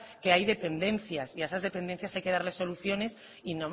que hay dependencias y a esas dependencias hay que darles soluciones y